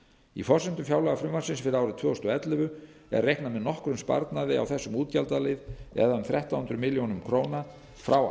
í forsendum fjárlagafrumvarpsins fyrir árið tvö þúsund og ellefu er reiknað með nokkrum sparnaði á þessum útgjaldalið það er þrettán hundruð milljóna króna frá